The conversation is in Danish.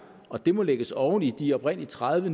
og de må lægges oven i de oprindelige tredive